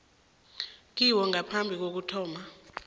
kiwo ngaphambi kokuthoma